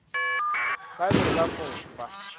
ba be ba mo fa